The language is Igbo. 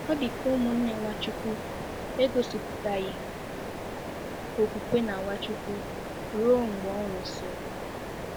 Ọ dị ka ụmụnne Nwachukwu egosipụtaghị okwukwe na Nwachukwu ruo mgbe ọ nwụsịrị.